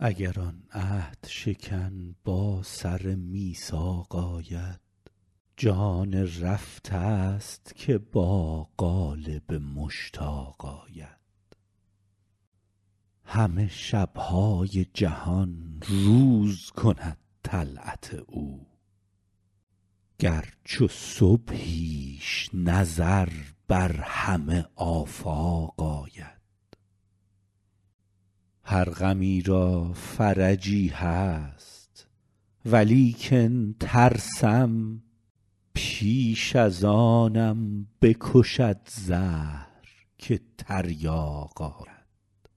اگر آن عهدشکن با سر میثاق آید جان رفته ست که با قالب مشتاق آید همه شب های جهان روز کند طلعت او گر چو صبحیش نظر بر همه آفاق آید هر غمی را فرجی هست ولیکن ترسم پیش از آنم بکشد زهر که تریاق آید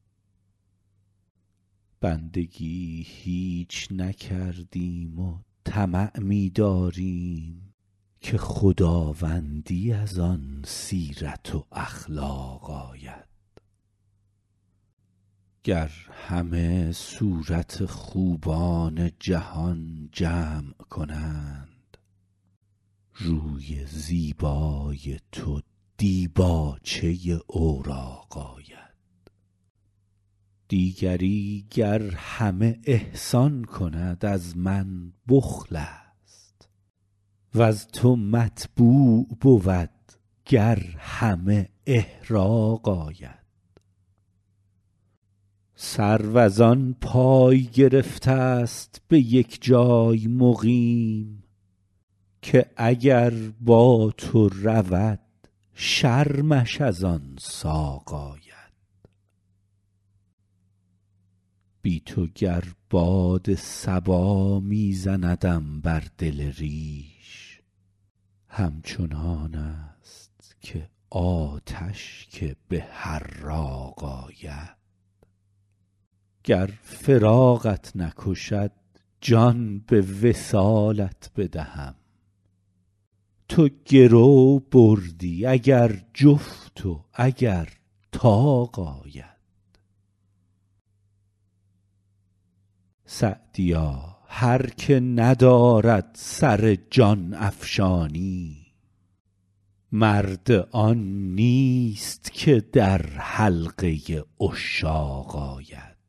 بندگی هیچ نکردیم و طمع می داریم که خداوندی از آن سیرت و اخلاق آید گر همه صورت خوبان جهان جمع کنند روی زیبای تو دیباچه اوراق آید دیگری گر همه احسان کند از من بخل است وز تو مطبوع بود گر همه احراق آید سرو از آن پای گرفته ست به یک جای مقیم که اگر با تو رود شرمش از آن ساق آید بی تو گر باد صبا می زندم بر دل ریش همچنان است که آتش که به حراق آید گر فراقت نکشد جان به وصالت بدهم تو گرو بردی اگر جفت و اگر طاق آید سعدیا هر که ندارد سر جان افشانی مرد آن نیست که در حلقه عشاق آید